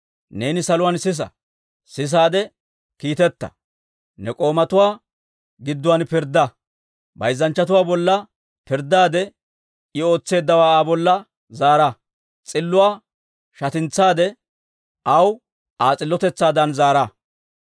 neeni saluwaan sisaade kiitetta. Ne k'oomatuwaa gidduwaan pirddaa. Bayzzanchchatuwaa bolla pirddaade, I ootseeddawaa Aa bolla zaara; s'illuwaa shatintsaade, aw Aa s'illotetsaadan zaara.